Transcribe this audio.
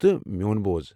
تہٕ، میون بوز ۔